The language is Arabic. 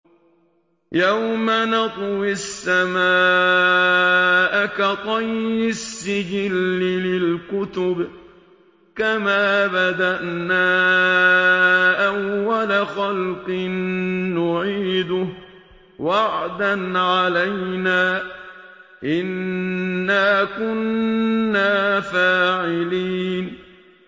يَوْمَ نَطْوِي السَّمَاءَ كَطَيِّ السِّجِلِّ لِلْكُتُبِ ۚ كَمَا بَدَأْنَا أَوَّلَ خَلْقٍ نُّعِيدُهُ ۚ وَعْدًا عَلَيْنَا ۚ إِنَّا كُنَّا فَاعِلِينَ